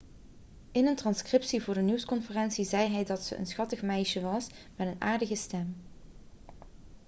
in een transcriptie van de nieuwsconferentie zei hij dat ze een schattig meisje was met een aardige stem'